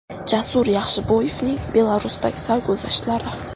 Jasur Yaxshiboyevning Belarusdagi sarguzashtlari !